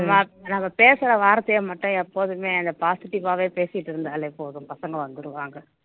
நம்ம பேசுற வார்த்தையை மட்டும் எப்போதுமே அந்த positive ஆவே பேசிட்டு இருந்தாலே போதும் பசங்க வந்துருவாங்க